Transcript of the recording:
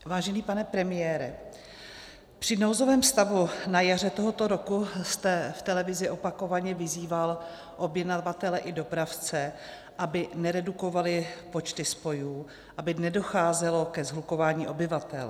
Vážený pane premiére, při nouzovém stavu na jaře tohoto roku jste v televizi opakovaně vyzýval objednavatele i dopravce, aby neredukovali počty spojů, aby nedocházelo ke shlukování obyvatel.